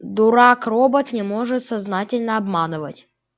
дурак робот не может сознательно обманывать